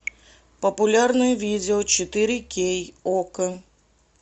популярные видео четыре кей окко